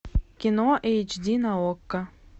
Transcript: кино эйч ди на окко